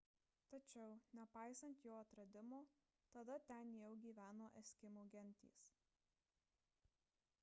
tačiau nepaisant jo atradimo tada ten jau gyveno eskimų gentys